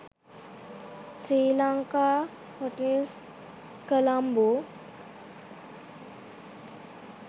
sri lanka hotels colombo